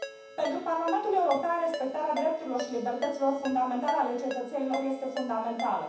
Pentru Parlamentul European, respectarea drepturilor și libertăților fundamentale ale cetățenilor este fundamentală.